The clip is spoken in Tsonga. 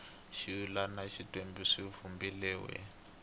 swivulwa na tindzimana swi vumbiwile